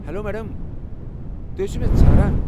Hello madam, تُہۍ ٲسِوٕ مےٚ ژھاران ؟